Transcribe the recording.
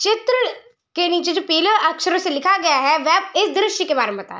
चित्र के नीचे जो पीले अक्षरों से लिखा गया है। वह इस दृश्य के बारे में बता --